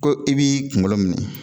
Ko i b'i kunkolo minɛ.